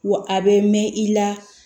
Wa a bɛ mɛn i la